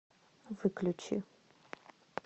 выключи